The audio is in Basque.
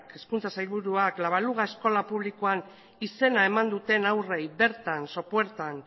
hezkuntza sailburuak la baluga eskola publikoan izena eman duten haurrei bertan sopuertan